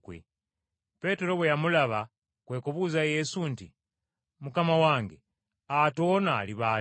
Peetero bwe yamulaba kwe kubuuza Yesu nti, “Mukama wange, ate ono aliba atya?”